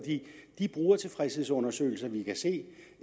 de brugertilfredshedsundersøgelser vi kan se